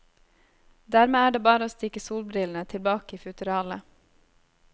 Dermed er det bare å stikke solbrillene tilbake i futteralet.